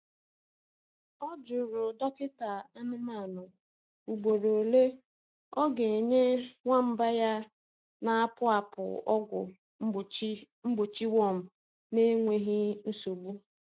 Ọ jụrụ dọkịta anụmanụ ugboro ole ọ ga-enye nwamba ya na-apụ apụ ọgwụ mgbochi mgbochi worm n’enweghị nsogbu.